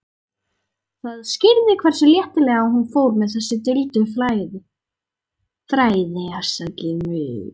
Það skýrði hversu léttilega hún fór með þessi duldu fræði.